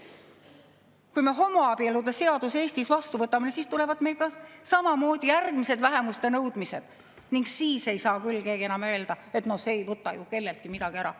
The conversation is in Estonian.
Kui me homoabielude seaduse Eestis vastu võtame, siis tulevad meil ka samamoodi järgmised vähemuste nõudmised ning siis ei saa küll enam keegi öelda, et no see ei võta ju kelleltki midagi ära.